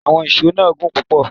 Àwọn íṣo náà gùn púpò